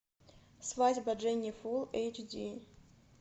свадьба дженни фулл эйч ди